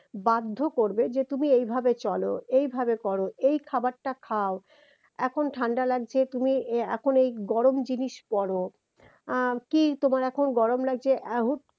বাধ্য করবে যে তুমি এইভাবে চল এইভাবে কর এই খাবারটা খাও এখন ঠান্ডা লাগছে তুমি এ এখন এই গরম জিনিস পর আহ কি তোমার এখন গরম লাগছে এ হুট